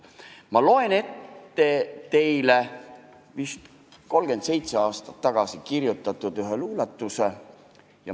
Ma loen ka ette ühe vist 37 aastat tagasi kirjutatud luuletuse.